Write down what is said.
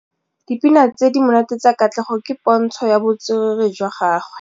Dipina tse di monate tsa Katlego ke pôntshô ya botswerere jwa gagwe.